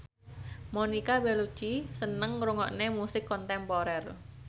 Monica Belluci seneng ngrungokne musik kontemporer